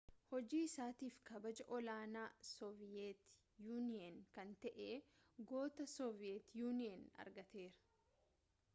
hojii isaatiif kabaja ol-aanaa sooviyeet yuuniyen kan ta'e goota sooviyeet yuuniyen argateera